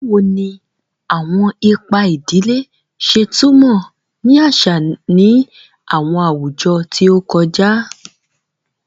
Bawo ni awọn ipa idile ṣe tumọ ni aṣa ni awọn awujọ ti o kọja?